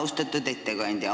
Austatud ettekandja!